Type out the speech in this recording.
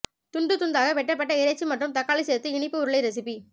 துண்டு துண்தாக வெட்டப்பட்ட இறைச்சி மற்றும் தக்காளி சேர்த்து இனிப்பு உருளை ரெசிபி